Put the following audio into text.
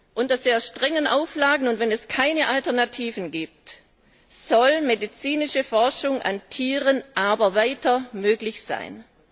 Unter sehr strengen Auflagen, und wenn es keine Alternativen gibt, soll medizinische Forschung an Tieren weiter möglich sein.